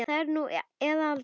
Það er nú eða aldrei.